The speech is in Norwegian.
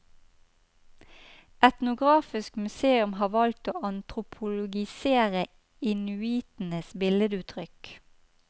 Etnografisk museum har valgt å antropologisere inuitenes billeduttrykk.